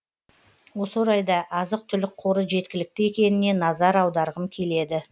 осы орайда азық түлік қоры жеткілікті екеніне назар аударғым келеді